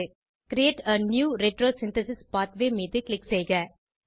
create a new retrosynthesis pathway மீது click செய்க